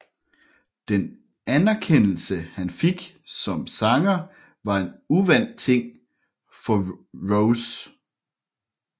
Den anerkendelse han fik som sanger var en uvant ting for Rose